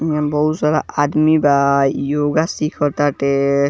इमे बहुत सारा आदमी बा योगा सीखा टाटे।